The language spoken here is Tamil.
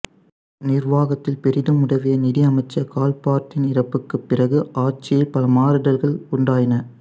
நிர்வாகத்தில் பெரிதும் உதவிய நிதி அமைச்சர் கால்பர்ட்டின் இறப்புக்குப் பிறகு ஆட்சியில் பல மாறுதல்கள் உண்டாயின